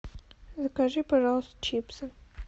закажи пожалуйста чипсы